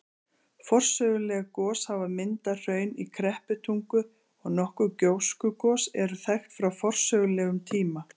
Forsöguleg gos hafa myndað hraun í Krepputungu, og nokkur gjóskugos eru þekkt frá forsögulegum tíma.